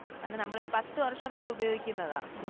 അത് നമ്മളൊരു പത്തു വർഷംവരെ ഉപയോഗിക്കുന്നതാ